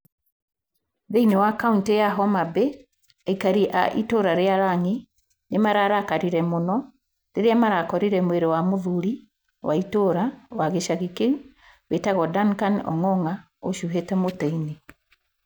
Thĩinĩ wa kaunti ya Homa Bay, aikari a itũra rĩa Rang'i nĩ ma ra makire mũno rĩrĩa ma ra korire mwĩrĩ wa mũthuri wa itũra wa gĩcagi kĩu wĩtagwo Danikani Ong'ong'o a ũcuhiite mũtĩ-inĩ.